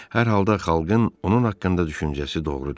Hər halda xalqın onun haqqında düşüncəsi doğrudur.